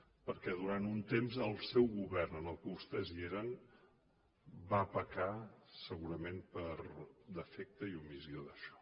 perquè durant un temps el seu govern en el qual vostès eren va pecar segurament per defecte i omissió d’això